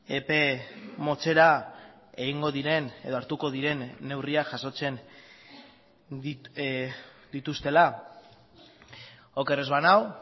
epe motzera egingo diren edo hartuko diren neurriak jasotzen dituztela oker ez banago